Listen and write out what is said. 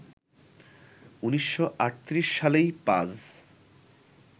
১৯৩৮ সালেই পাজ